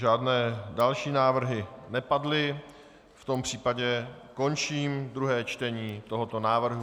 Žádné další návrhy nepadly, v tom případě končím druhé čtení tohoto návrhu.